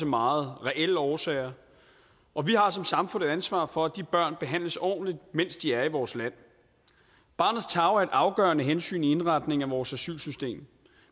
meget reelle årsager og vi har som samfund et ansvar for at de børn behandles ordentligt mens de er i vores land barnets tarv er et afgørende hensyn i indretningen af vores asylsystem